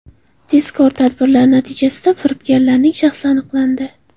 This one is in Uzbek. Tezkor tadbirlar natijasida firibgarlarning shaxsi aniqlandi.